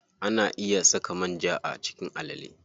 Ana iya saka manja a cikin alale.